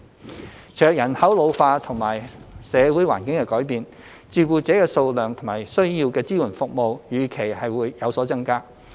隨着人口老化及社會環境的改變，照顧者的數量及需要的支援服務預期會有所增加。